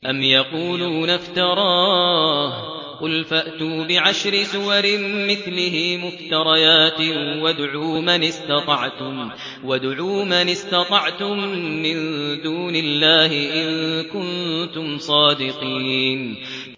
أَمْ يَقُولُونَ افْتَرَاهُ ۖ قُلْ فَأْتُوا بِعَشْرِ سُوَرٍ مِّثْلِهِ مُفْتَرَيَاتٍ وَادْعُوا مَنِ اسْتَطَعْتُم مِّن دُونِ اللَّهِ إِن كُنتُمْ صَادِقِينَ